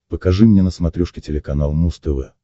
покажи мне на смотрешке телеканал муз тв